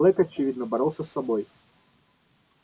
блэк очевидно боролся с собой